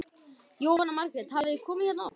Jóhanna Margrét: Hafið þið komið hérna oft?